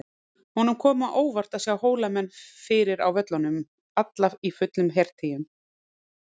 Honum kom á óvart að sjá Hólamenn fyrir á völlunum, alla í fullum hertygjum.